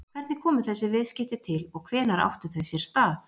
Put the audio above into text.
Hvernig komu þessi viðskipti til og hvenær áttu þau sér stað?